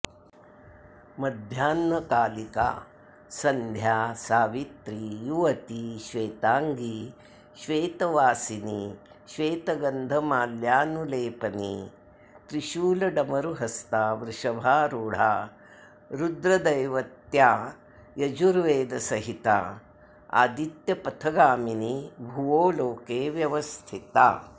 मध्याह्नकालिका सन्ध्या सावित्री युवती श्वेताङ्गी श्वेतवासिनीश्वेतगन्धमाल्यानुलेपनी त्रिशूलडमरुहस्ता वृषभारूढा रुद्रदैवत्यायजुर्वेदसहिता आदित्यपथगामिनी भुवोलोके व्यवस्थिता